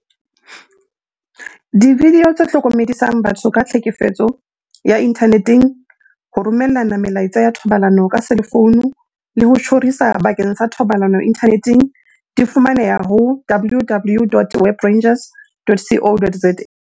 Dividio tse hlokomedisang batho ka tlhekefetso ya inthane teng, ho romellana melaetsa ya thobalano ka selefouno le ho tjhorisa bakeng sa thobalano inthaneteng, di fumaneha ho www.webrangers.co.za.